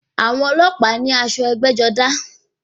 Àwọn ọlọ́pàá ní aṣọ ẹgbẹ́-jọdá.